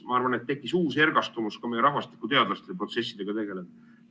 Ma arvan, et tekkis uus ergastumus ka meie rahvastikuteadlastel protsessidega tegelemisel.